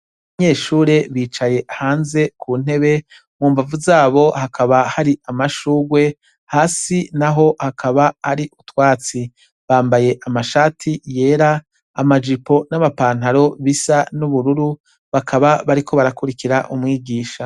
Abanyeshure bicaye hanze ku ntebe. Mumbavu z'abo, hakaba hari amashurwe, hasi naho hakaba hari utwatsi. Bambaye amashati yera amajipo n'amapataro bisa n'ubururu. Bakaba bariko barakurikira umwigisha.